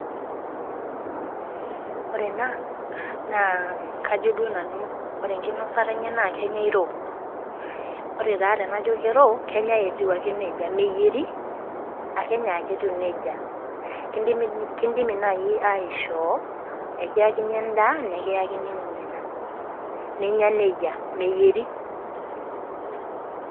Ore ena naa kajo duo nanu ore enkinosata enye naa kenyai raw. Ore taa tenajo kenyai raw, kenyai etiu neija , meyieri akenyai ake etiu neijaa. Kindimi naaji aishoo ekiyakini endaa nekiyakini ninye ina, ninya neija, meyieri.